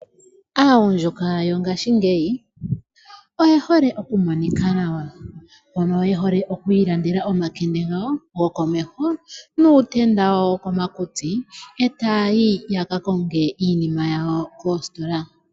Aagundjuka yongaashingeyi oye hole okumonika nawa. Oye hole oku ilandela omakende gawo gokomeho nuutenda woko makutsi . Eta ya yi yaka konge iinima yawo moositola.